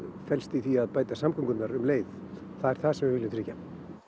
felst í því að bæta samgöngurnar um leið það er það sem við viljum tryggja